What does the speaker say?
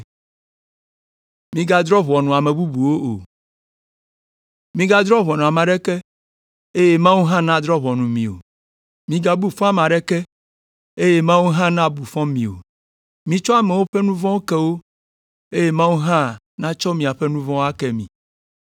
“Migadrɔ̃ ʋɔnu ame aɖeke, eye Mawu hã nadrɔ̃ ʋɔnu mi o. Migabu fɔ ame aɖeke, eye Mawu hã nabu fɔ mi o. Mitsɔ amewo ƒe nu vɔ̃wo ke wo, eye Mawu hã natsɔ miaƒe nu vɔ̃wo ake mi.